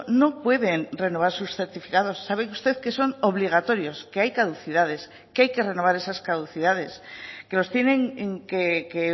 no pueden renovar sus certificados sabe usted que son obligatorios que hay caducidades que hay que renovar esas caducidades que los tienen que